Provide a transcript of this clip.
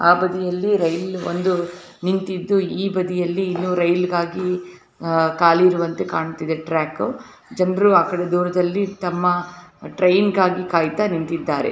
ಆ ಬದಿಯಲ್ಲಿ ರೈಲು ಒಂದು ನಿಂತಿದೆ ಈ ಬಾಧಿ ಯಲ್ಲಿ ಇನ್ನು ರೈಲ್ ಗಾಗಿ ಅಹ್ ಕಾಲಿ ಇರುವಂತೆ ಕಾಣ್ತಿದೆ ಟ್ರ್ಯಾಕ್ ಜನರು ಆಕಡೆ ದೂರದಲ್ಲಿ ತಮ್ಮ ಟ್ರೈನ್ ಗಾಗಿ ಕಾಯ್ತಾ ನಿಂತಿದ್ದಾರೆ.